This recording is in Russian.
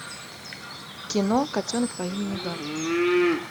кино котенок по имени гав